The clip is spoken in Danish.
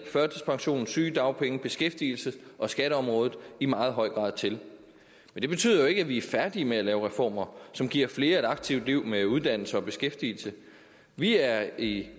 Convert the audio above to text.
førtidspensions sygedagpenge beskæftigelses og skatteområdet i meget høj grad til men det betyder jo ikke at vi er færdige med at lave reformer som giver flere et aktivt liv med en uddannelse og beskæftigelse vi er i